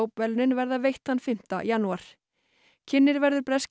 verðlaunin verða veitt þann fimmta janúar kynnir verður breski